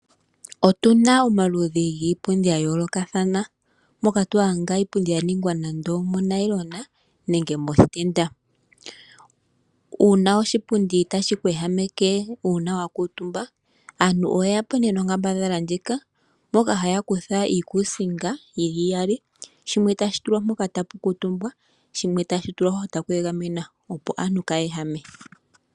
Otuna omaludhi giipundi gayoolokathana ngaashi nee mpyoka yalongwa moonayilona nenge moshitenda. Uuna oshipundi tashi ku ehameke ngele wakuutumbo kusho aantu oye ya po nee nonkambadhala yokukutha iikusinga yili iyali shimwe tashi tulwa poka tapu kuutumbwa ano koshipundi sho shimwe tashi tashi igamenwa opo aantu kaayeehame we uuna taya kuutumba kiipundi.